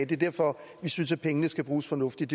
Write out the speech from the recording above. det er derfor at vi synes at pengene skal bruges fornuftigt